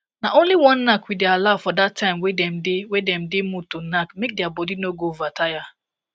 na only one knack we day allow for that time way them day them day mood to knack make their body no go over tire